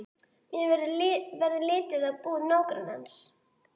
Mér verður litið á íbúð nágrannans.